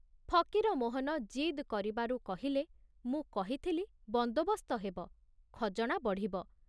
ଫକୀରମୋହନ ଜିଦ କରିବାରୁ କହିଲେ, ମୁଁ କହିଥିଲି ବନ୍ଦୋବସ୍ତ ହେବ, ଖଜଣା ବଢ଼ିବ।